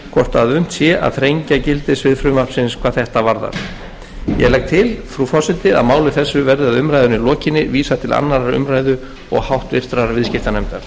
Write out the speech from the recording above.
að unnt sé að þrengja gildissvið frumvarpsins hvað þetta varðar ég legg til frú forseti að máli þessu verði að umræðunni lokinni vísað til annarrar umræðu og háttvirtur viðskiptanefndar